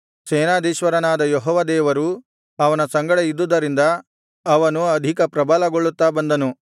ಸೇನಾಧೀಶ್ವರನಾದ ಯೆಹೋವ ದೇವರು ಅವನ ಸಂಗಡ ಇದ್ದುದರಿಂದ ಅವನು ಆಧಿಕ ಪ್ರಬಲಗೊಳ್ಳುತ್ತಾ ಬಂದನು